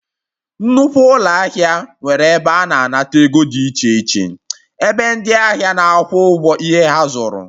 Nnukwu ụlọ ahịa nwere ebe ana anata ego dị iche iche, ebe ndị ahịa na-akwụ ụgwọ ihe ha zuru